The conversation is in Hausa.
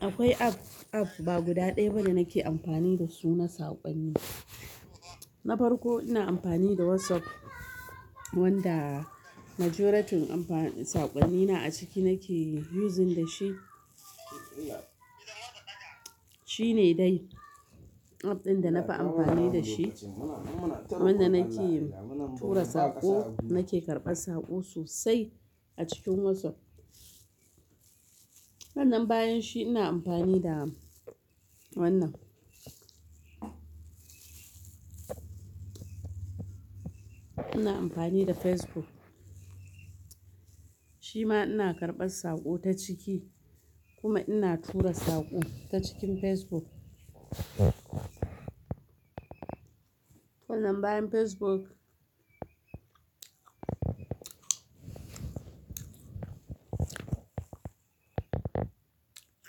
Akwai app, app ba guda ɗaya ba da nake amfani da su na saƙonni. Na farko ina amfani da WhatsApp wanda majoritin amfani-- saƙonnina a ciki nake using da shi. Shi ne dai app ɗin da na fi amfani da shi, wanda nake tura saƙo, nake karɓar saƙo sosai a cikin WhatsApp. Sannan bayan shi ina amfani da wannan. Ina amfani da Facebook. Shi ma ina karɓar saƙo ta ciki kuma ina tura saƙo ta cikin Facebook. Wannan bayan Facebook.